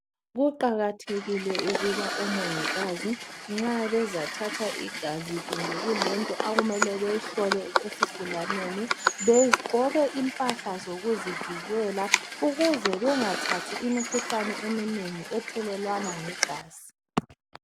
Kuqakathekile ukuba omongikazi nxa bezathatha igazi kumbe kulento akumele beyihlole esigulaneni begqoke impahla zokuzivikela ukuze bengathathi imikhuhlane eminengi ethelelwana ngegazi